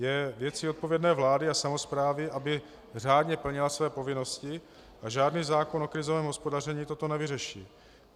Je věcí odpovědné vlády a samosprávy, aby řádně plnila své povinnosti, a žádný zákon o krizovém hospodaření toto nevyřeší.